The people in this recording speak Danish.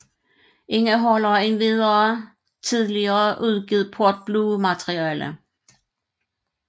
Indeholder endvidere tidligere uudgivet Port Blue materiale